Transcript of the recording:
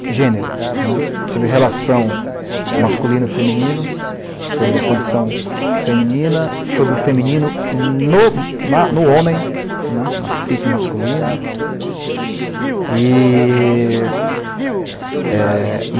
gênero né, sobre a relação masculino feminino, sobre a condição feminina, sobre o feminino no ma no homem, né, na psique masculina. E, eh...